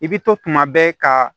I bɛ to tuma bɛɛ ka